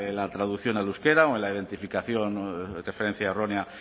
la traducción al euskera o en la identificación de referencia errónea